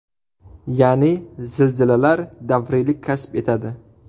Ya’ni, zilzilalar davriylik kasb etadi.